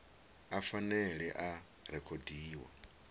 a phanele a a rekhodiwa